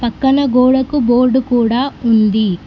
పక్కన గోడకు బోర్డు కూడా ఉంది.